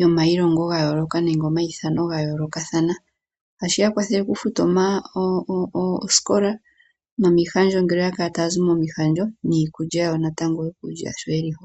yomailongo ga yooloka nenge omaithano ga yoolokathana, tashi ya kwathelwa okufuta osikola nomihandjo ngele oyakala tayazi momihandjo niikulya yawo sho yelimo.